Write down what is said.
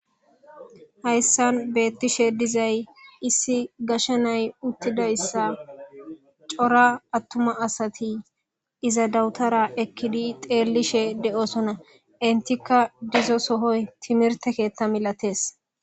hayssan beettishe dizay issi gashe nay uttidayssa cora attuma asati iza dawutara ekkidi xeellishe de7osona entikka dizo sohoy timirte keetta milatees